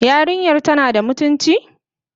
Yarinyar tana da mutunci?